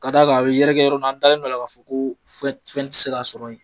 K'a d'a a kan a bɛ yɛrɛkɛ yɔrɔ la, an dalen b'a la k'a fɔ ko fɛn tɛ se ka sɔrɔ yen.